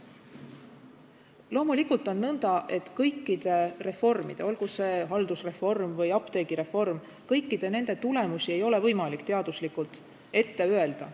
Loomulikult on nõnda, et kõikide reformide, olgu see näiteks haldusreform või apteegireform, tulemusi ei ole võimalik teaduslikult ette öelda.